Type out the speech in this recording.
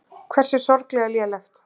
Hversu sorglega lélegt.